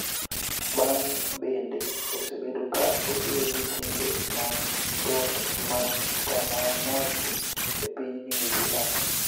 bang� bende osebedo ka otiyo gi timbe mag got mag Taranaki e piny New Zealand